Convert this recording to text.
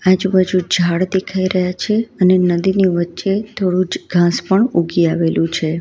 આજુબાજુ ઝાડ દેખાય રહ્યા છે અને નદીની વચ્ચે થોડુજ ઘાંસ પણ ઉઘી આવેલું છે.